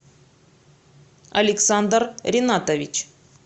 александр ринатович